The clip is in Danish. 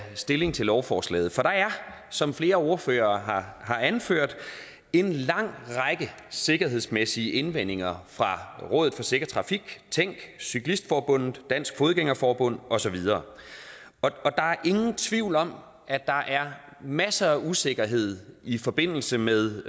stilling til lovforslaget for der er som flere ordførere har anført en lang række sikkerhedsmæssige indvendinger fra rådet for sikker trafik tænk cyklistforbundet dansk fodgænger forbund og så videre der er ingen tvivl om at der er masser af usikkerhed i forbindelse med